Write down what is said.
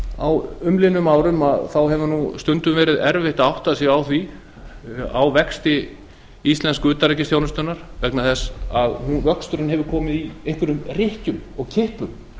á umliðnum árum hefur stundum verið erfitt að átta sig á vexti íslensku utanríkisþjónustunnar vegna þess að vöxturinn hefur komið í einhverjum rykkjum og kippum